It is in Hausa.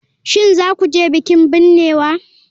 Shin za ku je bikin binnewa?